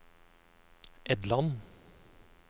Edland